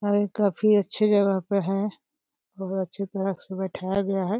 है काफी अच्छी जगह पे है और बहुत अच्छी तरह से बैठाया गया है।